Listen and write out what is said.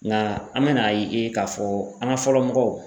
Nka an bɛna ye k'a fɔ an ka fɔlɔ mɔgɔw